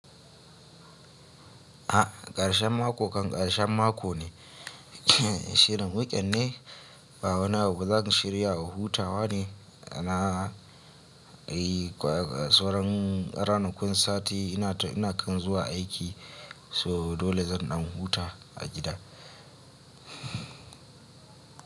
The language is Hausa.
A ƙarshen mako kan ƙarshen mako ne, shirin wuken ne, ba wani abu zan shiryawa huta wa ne, na sai ranakun sati ina kan zuwa aiki so dole zan ɗan huta a gida.